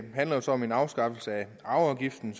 handler jo så om en afskaffelse af arveafgiften